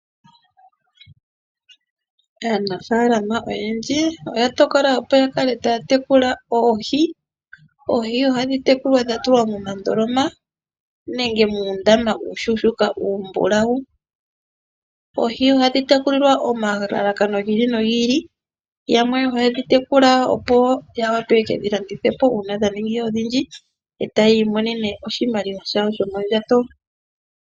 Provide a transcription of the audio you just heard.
Aanafaalama oyendji oya tokola opo yatekule oohi. Oohi ohadhi tekulilwa momandoloma nenge muundama uushonaelela uumbulau. Oohi ohadhi tekulilwa nomalalakano gili nogili ngaashi okudhi shingitha uuna dhaaningi odhindji, etaya imonenemo iiyemo.